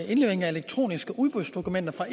indlevering af elektroniske udbudsdokumenter